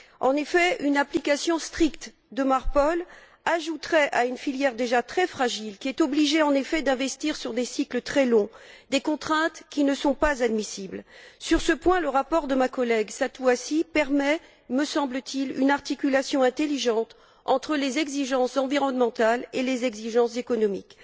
En effet, une application stricte de Marpol ajouterait à une filière déjà très fragile qui est obligée, en effet, d'investir sur des cycles très longs, des contraintes qui ne sont pas admissibles. Sur ce point, le rapport de ma collègue, Satu Hassi, permet, me semble t il, une articulation intelligente entre les exigences environnementales et les exigences économiques.